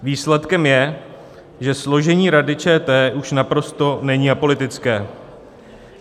Výsledkem je, že složení Rady ČT už naprosto není apolitické.